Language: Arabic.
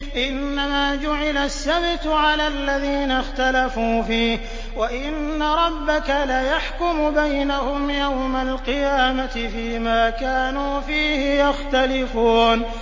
إِنَّمَا جُعِلَ السَّبْتُ عَلَى الَّذِينَ اخْتَلَفُوا فِيهِ ۚ وَإِنَّ رَبَّكَ لَيَحْكُمُ بَيْنَهُمْ يَوْمَ الْقِيَامَةِ فِيمَا كَانُوا فِيهِ يَخْتَلِفُونَ